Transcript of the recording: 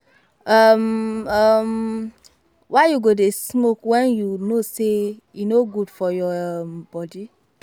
um um Why you go dey smoke wen you know say e no good for your um body